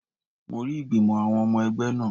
Mo rí ìgbìmò àwọn ọmọ ẹgbẹ́ náà